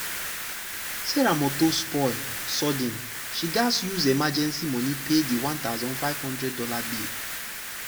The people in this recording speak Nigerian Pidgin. sarah motor spoil sudden she gatz use emergency money pay the one thousand five hundred dollars bill.